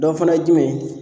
Dɔ fɛnɛ ye jumɛn ye